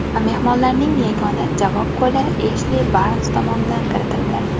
Mehmonlarning yagona javob goli Eshli Barns tomonidan kiritildi.